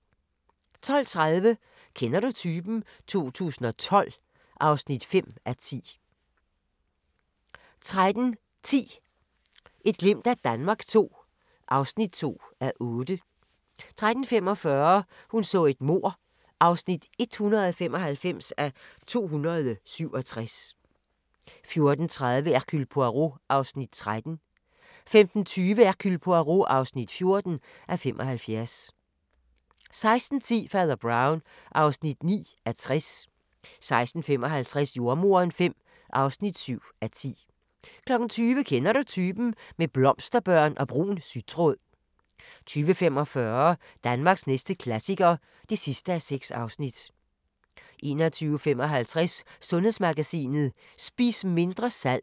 12:30: Kender du typen? 2012 (5:10) 13:10: Et glimt af Danmark II (2:8) 13:45: Hun så et mord (195:267) 14:30: Hercule Poirot (13:75) 15:20: Hercule Poirot (14:75) 16:10: Fader Brown (9:60) 16:55: Jordemoderen V (7:10) 20:00: Kender du typen? – med blomsterbørn og brun sytråd 20:45: Danmarks næste klassiker (6:6) 21:55: Sundhedsmagasinet: Spis mindre salt